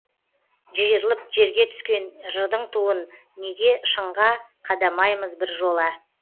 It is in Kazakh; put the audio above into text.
жиырылып жерге түскен жырдың туын неге шыңға қадамаймыз біржола